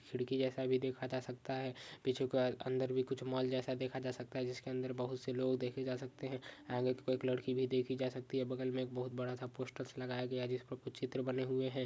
खिड़की जैसा भी देखा जा सकता है पीछे अंदर भी मॉल जैसा देखा जा सकता है। जिसके बहुत से लोग देखे जा सकते है। आगे एक लड़की भी देखी जा सकती है। बगल मे एक बहुत बड़ा पोस्टर्स लगा गया है। जिसमे कुछ चित्र बने हुए है।